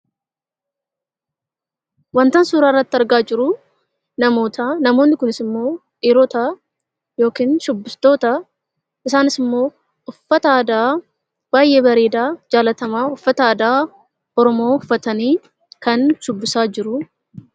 Wantan suuraa irratti argaa jiru namoota. Namoonni kunis dhiirota yookiin shubbistoota. Isaanis immoo uffata aadaa uffata aadaa baay'ee bareedaa Oromoo uffatanii shubbisaa jiru.